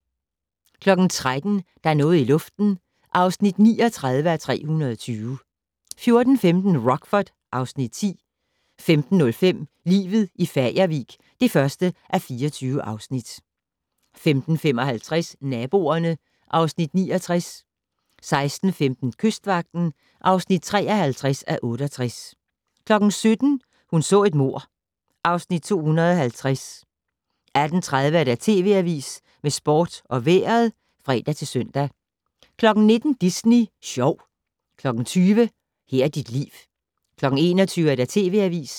13:00: Der er noget i luften (39:320) 14:15: Rockford (Afs. 10) 15:05: Livet i Fagervik (1:24) 15:55: Naboerne (Afs. 69) 16:15: Kystvagten (53:68) 17:00: Hun så et mord (Afs. 250) 18:30: TV Avisen med sport og vejret (fre-søn) 19:00: Disney Sjov 20:00: Her er dit liv 21:00: TV Avisen